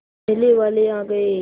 मेले वाले आ गए